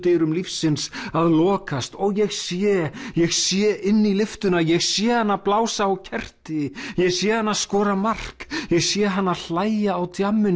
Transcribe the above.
lyftudyrum lífsins að lokast og ég sé ég sé inn í lyftuna ég sé hana blása á kerti ég sé hana skora mark ég sé hana hlæja á